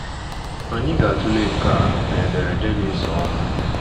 Anyị ga-atụle nke a na ederede na-esonụ.